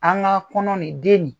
An ka kɔnɔ nin den nin